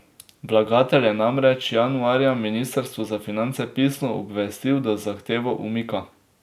Vlagatelj je namreč januarja ministrstvo za finance pisno obvestil, da zahtevo umika.